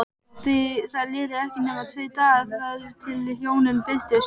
Það liðu ekki nema tveir dagar þar til hjónin birtust.